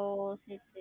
ஓ சரி சரி